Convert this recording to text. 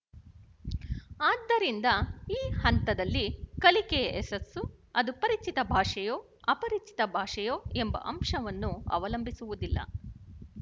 ಆದ್ದರಿಂದ ಈ ಹಂತದಲ್ಲಿ ಕಲಿಕೆಯ ಯಶಸ್ಸು ಅದು ಪರಿಚಿತ ಭಾಷೆಯೋ ಅಪರಿಚಿತ ಭಾಷೆಯೋ ಎಂಬ ಅಂಶವನ್ನು ಅವಲಂಬಿಸುವುದಿಲ್ಲ